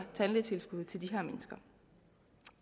tandlægetilskud til de her mennesker